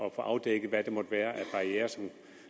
at få afdækket hvad der måtte være af barrierer